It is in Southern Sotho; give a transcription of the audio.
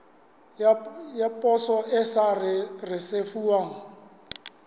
ya poso e sa risefuwang